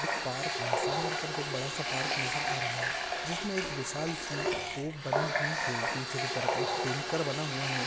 एक पार्क है सामने की तरफ एक बड़ा सा पार्क नजर आ रहा है जिसमे एक विशाल सी तोफ बनी हुई है नीचे की तरफ एक टेंकर बना हुआ है।